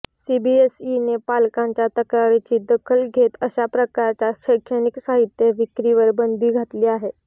सीबीएसईने पालकांच्या तक्रारीची दखल घेत अशाप्रकारच्या शैक्षणिक साहित्य विक्रीवर बंदी घातली आहे